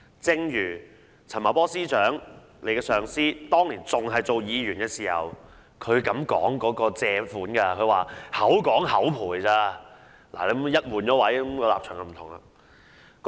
正如局長的上司陳茂波司長當年擔任議員時，也說借款是"口講口賠"而已，一旦換位，立場已經不一樣。